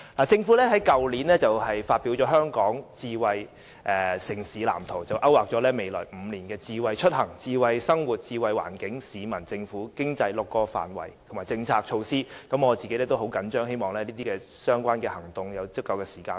政府於去年發表《香港智慧城市藍圖》，勾劃了未來5年的智慧出行、智慧生活、智慧環境、智慧市民、智慧政府及智慧經濟6個範圍，以及各項政策措施，我對此也十分着緊，希望相關的行動設有時間表。